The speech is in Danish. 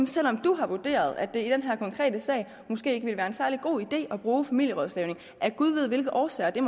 selv om du har vurderet at det i den her konkrete sag måske ikke vil være en særlig god idé at bruge familierådslagning af gud ved hvilke årsager det